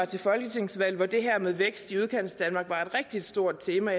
til folketingsvalg hvor det her med vækst i udkantsdanmark var et rigtig stort tema